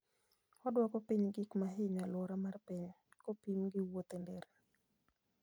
Oduoko piny gik ma hinyo alwora mar piny, kopim gi wuoth e nderni.